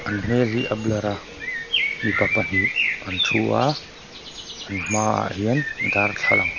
an hmel hi a blur a mipa pahnih an thu a an hmaah hian darthlalang--